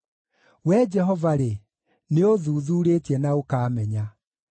Wee Jehova-rĩ, nĩũũthuthuurĩtie na ũkaamenya.